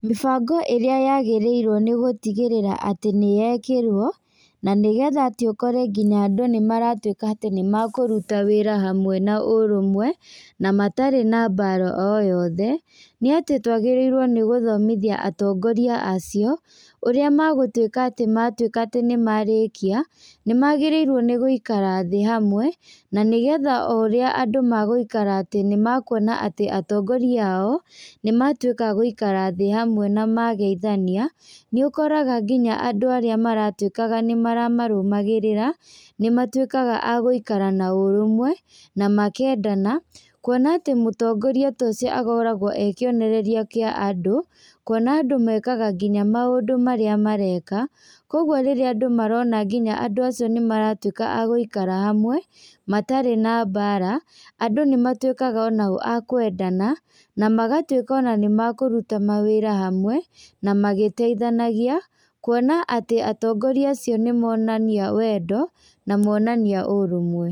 Mĩbango ĩrĩa yagĩrĩirwo nĩgũtigĩrĩra atĩ nĩyekĩrwo, na nĩgetha atĩ ũkore nginya andũ nĩmaratwĩka atĩ nĩmakũrũta wĩra hamwe na ũrũmwe, na matarĩ na mbaara o yothe, nĩ atĩ twagĩrĩrwo nĩ gũthomithia atongoria acio ũrĩa magũtũika atĩ nĩmatũĩka atĩ nĩmarĩkia nĩ magĩrĩirwo nĩgũikara thĩ hamwe na nĩgetha o ũrĩa andũ magũikara atĩ nimakũona atĩ atongoria ao nĩmatũĩka agũikara thĩ hamwe na mageithania nĩ ũkoraga nginya andũ arĩa nĩ maratwĩkaga nĩ maramarũgamagĩrĩra nĩ matwĩkaga a gũikara na ũrũmwe na makendana, kũona atĩ mũtongoria ta ũcio akoragwo arĩ kĩonereria kĩ andũ kũona andũ mekaga nginya maũndũ marĩa mareka. Kogũo rĩrĩa andũ marona nginya andũ acio nĩ maratwika a gũikara hamwe matarĩ na mbara, andũ nĩmatwikaga onao a kwendana na magatwĩka ona nĩ makũrũta mawĩra hamwe na magĩteithanagia, kũona atĩ atongoria acio nĩ monania wendo na monania ũrũmwe.